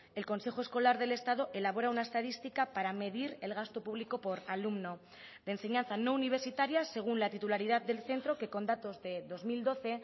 el consejo escolar del estado elabora una estadística para medir el gasto público por alumno de enseñanza no universitaria según la titularidad del centro que con datos de dos mil doce